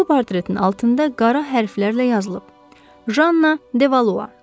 Bu portretin altında qara hərflərlə yazılıb: Janna Devalua.